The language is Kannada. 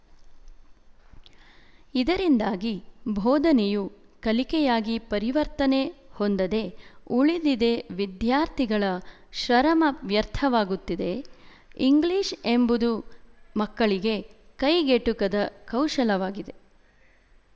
ಇದರಿಂದಾಗಿ ಬೋಧನೆಯು ಕಲಿಕೆಯಾಗಿ ಪರಿವರ್ತನೆ ಹೊಂದದೆ ಉಳಿದಿದೆ ವಿದ್ಯಾರ್ಥಿಗಳ ಶರಮ ವ್ಯರ್ಥವಾಗುತ್ತಿದೆ ಇಂಗ್ಲಿಶ ಎಂಬುದು ಮಕ್ಕಳಿಗೆ ಕೈಗೆಟುಕದ ಕೌಶಲವಾಗಿದೆ